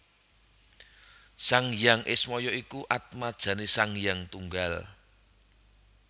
Sang Hyang Ismaya iku atmajane Sang Hyang Tunggal